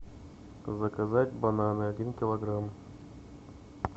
заказать бананы один килограмм